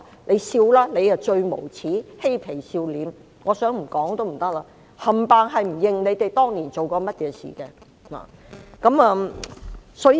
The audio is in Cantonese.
你笑吧！你最無耻，嬉皮笑臉，真的不說也不行，全部否認自己當年做過甚麼事情。